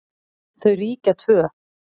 Þau ríkja tvö.